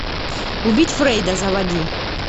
убить фрейда заводи